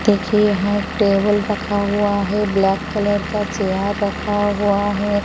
देखिए यहाँ एक टेबल रखा हुआ है ब्लैक कलर चेयार रखा हुआ है।